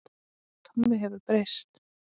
Tommi hefur breyst.